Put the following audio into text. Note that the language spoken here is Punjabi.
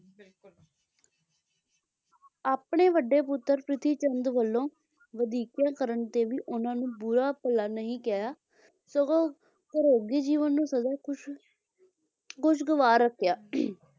ਆਪਣੇ ਵੱਡੇ ਪੁੱਤਰ ਪ੍ਰਿਥੀ ਚੰਦ ਵੱਲੋਂ ਵਧੀਕੀਆਂ ਕਰਨ ਤੇ ਵੀ ਉਹਨਾਂ ਨੂੰ ਬੁਰਾ ਭਲਾ ਨਹੀਂ ਕਿਹਾ ਸਗੋਂ ਜੀਵਨ ਨੂੰ ਸਦਾ ਹੀ ਖੁਸ਼ ਖੁਸ਼ ਖਵਾਰ ਰੱਖਿਆ,